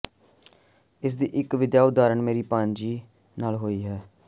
ਇਸ ਦੀ ਇਕ ਵਧੀਆ ਉਦਾਹਰਨ ਮੇਰੀ ਭਾਣਜੀ ਨਾਲ ਹੋਈ ਹੈ